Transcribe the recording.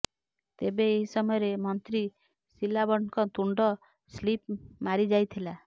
ତେବେ ଏହି ସମୟରେ ମନ୍ତ୍ରୀ ସିଲାବଟଙ୍କ ତୁଣ୍ଡ ସ୍ଲିପ ମାରିଯାଇଥିଲା